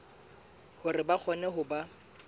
hore ba kgone ho ba